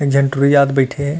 एक झन टुरी जात बईठे हे।